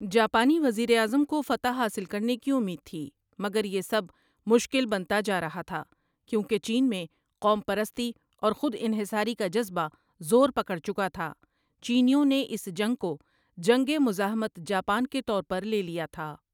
جاپانی وزیراعظم کو فتح حاصل کرنے کی اُمید تھی مگر یہ سب مشکل بنتا جارہا تھا کیونکہ چین میں قوم پرستی اور خود انحصاری کا جذبہ زور پکڑ چکا تھا چینیوں نے اس جنگ کو جنگ مزاحمت جاپان کے طور پر لے لیا تھا۔